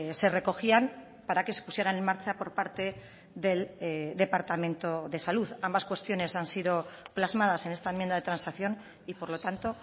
se recogían para que se pusieran en marcha por parte del departamento de salud ambas cuestiones han sido plasmadas en esta enmienda de transacción y por lo tanto